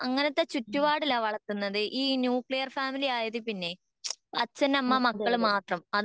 ഹും അതെയതെ